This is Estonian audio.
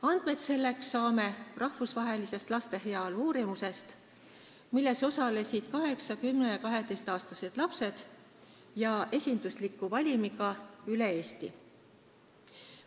Andmeid selleks saame rahvusvahelisest laste heaolu uurimusest, milles osalesid 8-, 10- ja 12-aastased lapsed esindusliku valimiga üle Eesti.